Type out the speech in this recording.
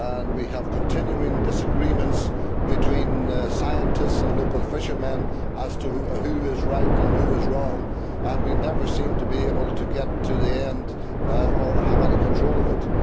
We have continuing disagreements between scientists and local fishermen as to who is right and who is wrong, and we never seem to be able to get to the end or have any control of it.